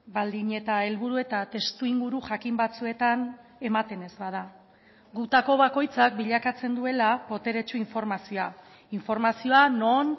baldin eta helburu eta testuinguru jakin batzuetan ematen ez bada gutako bakoitzak bilakatzen duela boteretsu informazioa informazioa non